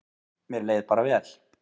Mér leið bara vel.